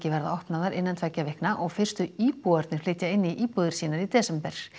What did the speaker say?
verða opnaðar innan tveggja vikna og fyrstu íbúarnir flytja inn í íbúðir sínar í desember